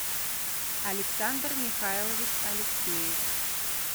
александр михайлович алексеев